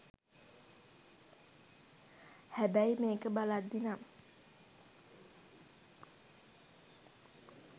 හැබැයි මේක බලද්දි නම්